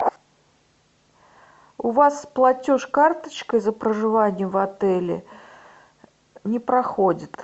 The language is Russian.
у вас платеж карточкой за проживание в отеле не проходит